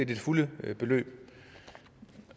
det fulde beløb